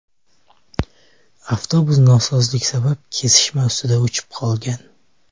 Avtobus nosozlik sabab kesishma ustida o‘chib qolgan.